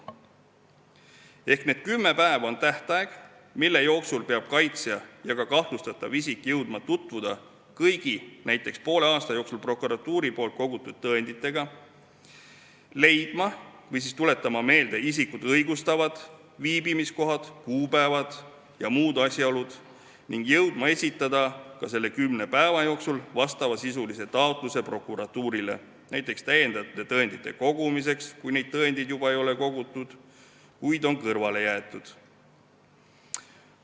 Ehk need kümme päeva on tähtaeg, mille jooksul peavad kaitsja ja kahtlustatav isik jõudma tutvuda kõigi näiteks poole aasta jooksul prokuratuuri poolt kogutud tõenditega, leidma või tuletama meelde isikut õigustavad viibimiskohad, kuupäevad ja muud asjaolud ning jõudma nende kümne päeva jooksul esitada prokuratuurile taotluse näiteks lisatõendite kogumiseks, kui ei ole nii, et tõendid on juba kogutud, kuid need on kõrvale jäetud.